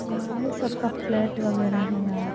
Normally सबका flat वगैरह है यहाँ ।